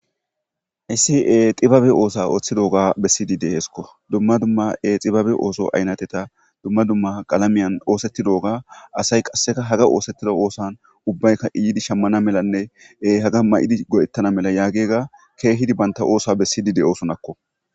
Hayssi xibabe oosa ooththidooga bessidide heeskko dumma dumma e xibabe ooso aynateta dumma dumma qalamiyan oosettidoga asay qasseka haga oosettida oosan ubbayka iyidi shammana melanne haga may7idi go7ettana mela yaagega keehidi banta oosa bessidi de7osonakko